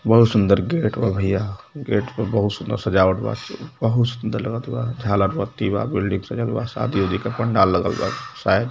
बहुत सुंदर गेट बा भैया गेट पर बहुत सुन्दर सजावट बा बहुत सुन्दर लगत बा झालर बत्ती बा बिल्डिंग सजल बा शादी वादी का पंडाल लगल बा शायद |